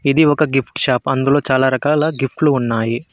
ఇది ఒక gift shop అందులో చాలా రకాల గిఫ్ట్లు ఉన్నాయి.